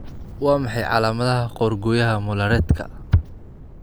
Waa maxay calaamadaha qoorgooyaha Mollaretka?